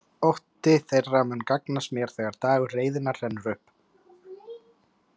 Ótti þeirra mun gagnast mér þegar dagur reiðinnar rennur upp.